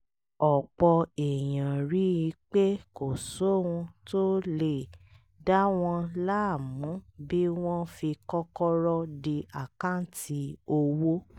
ọ̀pọ̀ èèyàn rí i pé kò sóhun tó lè dá wọn láàmú bí wọ́n fi kọ́kọ́rọ́ dí àkáǹtì owó